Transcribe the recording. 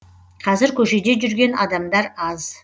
қазір көшеде жүрген адамдар аз